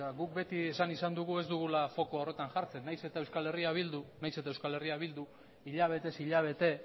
guk beti esan izan dugu ez dugula fokoa horretan jartzen nahiz eta euskal herria bilduk hilabetez hilabete